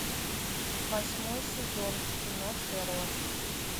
восьмой сезон кино шерлок